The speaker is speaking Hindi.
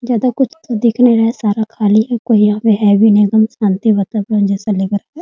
ज्यादा कुछ दिख तो नहीं रहा है सारा खाली है कोई यहाँ पे है भी नहीं एकदम शांति वातावरण जैसा लग रहा है।